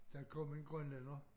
Der kom en grønlænder